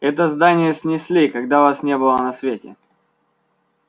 это здание снесли когда вас не было на свете